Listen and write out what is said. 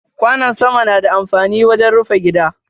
Kwano sama na da amfani wajen rufi gida.